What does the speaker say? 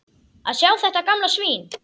Að sjá þetta gamla svín.